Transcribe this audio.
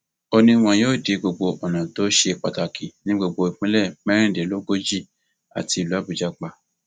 ó ní wọn yóò di gbogbo ọnà tó ṣe pàtàkì ní gbogbo ìpínlẹ mẹrìndínlógójì àti ìlú àbújá pa